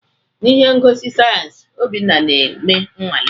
N'ihe ngosi sayensị, Obinna ga-eme nnwale.